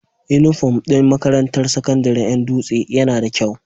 Inufom din makarantar sakandarin Yan dutse Yana da kyau